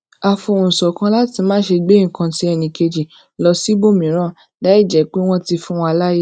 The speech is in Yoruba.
a fohùn ṣọkan láti máṣe gbé nǹkan ti ẹnìkejì lọ síbòmíràn láìjé pé wón ti fún wa láyè